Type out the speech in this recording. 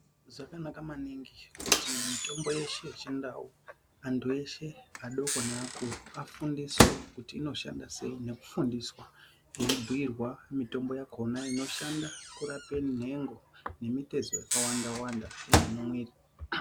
Zvakanaka maningi kuti mitombo yeshe yechindau antu eshe adoko nafundiswe kuti inoshanda sei nekufundiswa eibhuirwa mitombo yakona inoshanda kurape nhengo nemitezo yakawanda wanda yemumwiri.